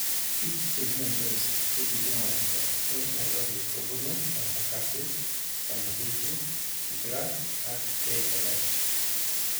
Biik chemyandos chekikimwayta en Nairobi kobunuu: Embakasi , Kamukunji , Kibra ak KNH